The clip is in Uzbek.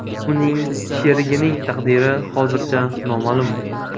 Uning sherigining taqdiri hozircha noma’lum.